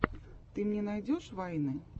ты мне найдешь вайны